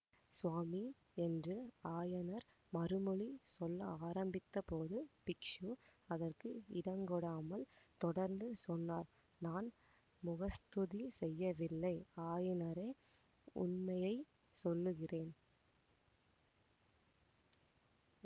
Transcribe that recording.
சுவாமி என்று ஆயனர் மறுமொழி சொல்ல ஆரம்பித்தபோது பிக்ஷு அதற்கு இடங்கொடாமல் தொடர்ந்து சொன்னார் நான் முகஸ்துதி செய்யவில்லை ஆயனரே உண்மையை சொல்லுகிறேன்